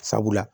Sabula